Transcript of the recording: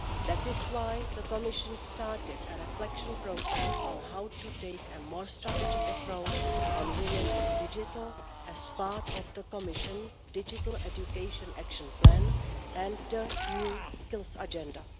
That is why the Commission started a reflection process on how to take a more strategic approach on women in the digital field as part of the Commission digital education action plan and the new skills agenda.